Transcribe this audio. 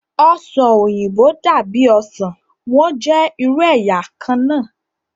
Ọsan oyinbo dabi osan, wọn jẹ iru ẹya kanna